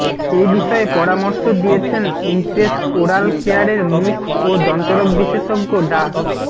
এ বিষয়ে পরামর্শ দিয়েছেন ইমপ্রেস ওরাল কেয়ারের মুখ ও দন্তরোগ বিশেষজ্ঞ ডা